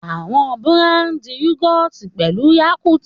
Àwọn búràndì Yúgọ̀ọ̀tì pẹ̀lú Yakult.